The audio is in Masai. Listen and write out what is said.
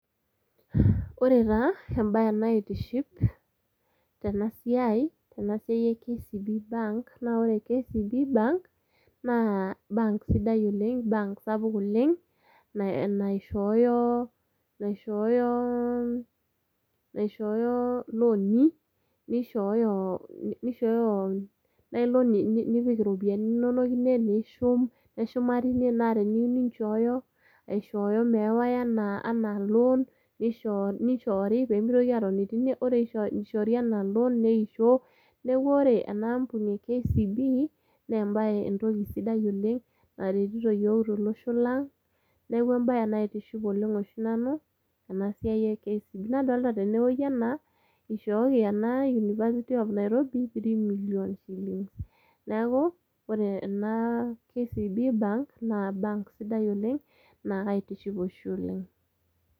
Ore taa ebae naitiship tenasiai, tenasiai e KCB bank, na ore KCB bank, naa bank sidai oleng', bank sapuk oleng', naishooyo, naishooyo iloni, nishooyo ailoni nipik iropiyiani inonok, nishum, neshuma tine na teniyieu ninchoyo, aishooyo meewai enaa loan, nishoori pemitoki atoni. Ore ishoori enaa loan, neisho. Neeku ore enaampuni e KCB, nebae entoki sidai oleng', naretito yiok tolosho lang', neeku ebae naitiship oleng' oshi nanu, enasiai e KCB. Nadolta tenewei enaa, ishooki ena University of Nairobi, three million. Neeku ore ena KCB bank, na bank sidai oleng',na kaitiship oshi oleng'.